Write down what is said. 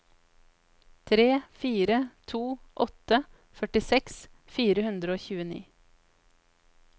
tre fire to åtte førtiseks fire hundre og tjueni